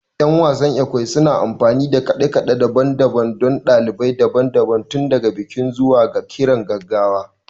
Yan wasan Ekwe suna amfani da kade-kade daban-daban don dalilai daban-daban, tun daga bikin zuwa ga kiran gaggawa